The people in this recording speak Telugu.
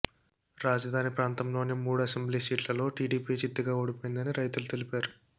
రాజధాని ప్రాంతంలోని మూడు అసెంబ్లీ సీట్లలో టీడీపీ చిత్తుగా ఓడిపోయిందని రైతులు తెలిపారు